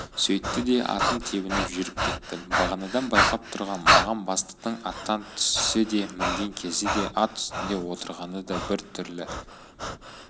сөйтті де атын тебініп жүріп кетті бағанадан байқап тұрғам маған бастықтың аттан түсісі де мінген кезі де ат үстінде отырғаны да бір түрлі